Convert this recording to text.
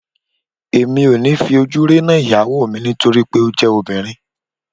Èmi ò ní fi ojú rénà ìyàwó mi nítorí pé ó jẹ́ obìnrin